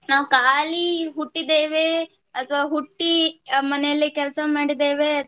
ನಾವು ಕಾಲಿ ಹುಟ್ಟಿದ್ದೇವೆ ಅಥವಾ ಹುಟ್ಟಿ ಮನೆಯಲ್ಲಿ ಕೆಲಸ ಮಾಡಿದ್ದೇವೆ